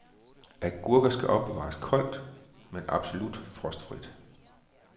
Agurker skal opbevares koldt men absolut frostfrit.